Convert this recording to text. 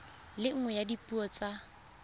le nngwe ya dipuo tsa